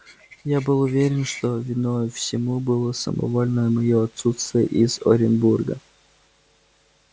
я был уверен что виною всему было самовольное моё отсутствие из оренбурга